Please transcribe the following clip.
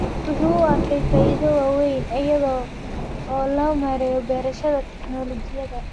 Waxa uu u arkaa faa'iidooyin waaweyn iyada oo loo marayo beerashada tignoolajiyada.